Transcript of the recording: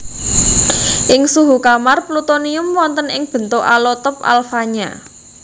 Ing suhu kamar plutonium wonten ing bentuk alotop alfanya